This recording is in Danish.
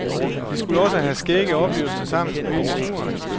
De skulle også have skægge oplevelser sammen ude i naturen.